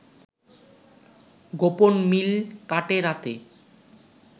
গোপন মিল কাটে/রাতে